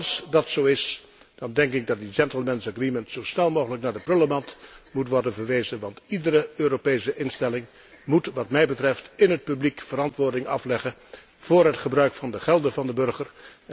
Als dat zo is, denk ik dat die gentlemen's agreement zo snel mogelijk naar de prullenmand moet worden verwezen, want iedere Europese instelling moet wat mij betreft in het publiek verantwoording afleggen voor het gebruik van de gelden van de burger.